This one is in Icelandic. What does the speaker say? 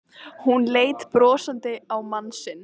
Hún leit brosandi á mann sinn.